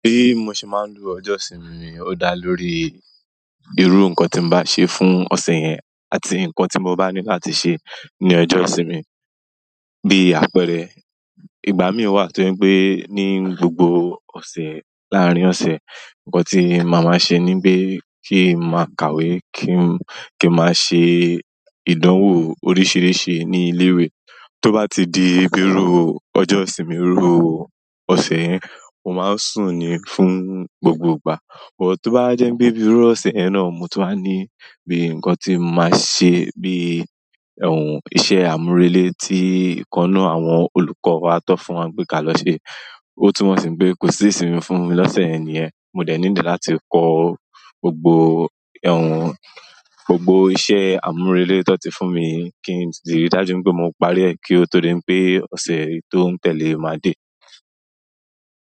Bí mo ṣe máa ń lo ọjọ́ ìsinmi mi, ó dá lórí irú nǹkan tí mo bá ṣe fún ọ̀sẹ̀ yẹn àti nǹkan tí mo bá ní láti ṣe ní ọjọ́ ìsinmi, bí àpẹẹrẹ, ìgbà mí ò wà tó je pé ní gbogbo ọ̀sẹ̀ láàárín ọ̀sẹ̀, nǹkan tí màmá ṣe níbí kí n máa kàwé, kí n máa ṣe ìdánwò oríṣiríṣi ní ilé-ìwé. Tó bá ti di bírú ọjọ́ ìsinmi rúru ọ̀sẹ̀ yẹn, mo máa ń sùn ní fún gbogbo ìgbà. But tó bá jẹ́ wípé bí írú ọ̀sẹ̀ yẹn náà mo tun wa ní bí nǹkan tí mo máa ṣe bí iṣẹ́ àmúrelé tí ìkannú àwọn olùkọ́ wa tọ́ fún wa pé ka lọ ṣe. Ó tún mọ̀ sí pé kò sí ìsinmi fún mi lọ́sẹ̀ yẹn niyẹ̀n, mo dẹ̀ need láti kọ gbogbo, gbogbo iṣẹ́ àmúrelé tí wọ́n ti fún mi kí n di ríi dájú wipé mo parí ẹ̀ kí ó tó di wipé ọ̀sẹ̀ tó ń tẹ̀lé máa dé.